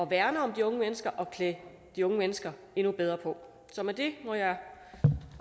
værne om de unge mennesker og klæde de unge mennesker endnu bedre på så med det må jeg